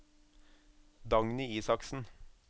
Dagny Isaksen